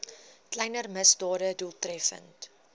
kleiner misdade doeltreffend